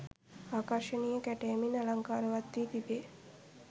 ආකර්ශනීය කැටයමින් අලංකාරවත් වී තිබේ.